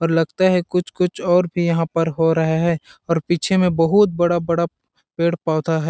और लगता है कुछ-कुछ और भी पर हो रहा है और पीछे में बहुत बड़ा-बड़ा पेड़ पौधा है।